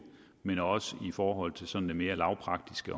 men også i forhold til det sådan mere lavpraktiske